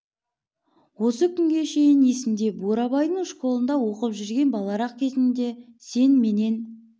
осы күнге шейін есімде бурабайдың школында оқып жүрген баларақ кезіңде сен менен